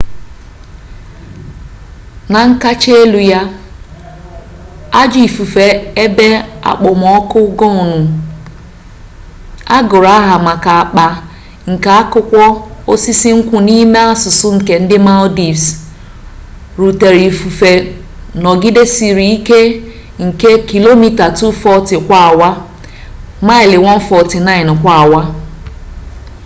na nkacha elu ya ajọ ifufe ebe okpomọkụ gonu agụrụ aha maka akpa nke akụkwọ osisi nkwụ n’ime asụsụ nke ndị maldives rutere ifufe nọgidesịrị ike nke kilomita 240 kwa awa maịlị 149 kwa awa